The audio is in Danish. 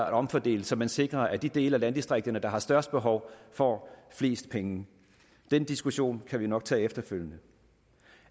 at omfordele så man sikrer at de dele af landdistrikterne der har størst behov får flest penge den diskussion kan vi nok tage efterfølgende